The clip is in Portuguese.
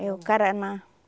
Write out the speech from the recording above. É o caraná.